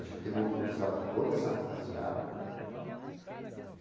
A gente tem mobilizado toda essa rapaziada.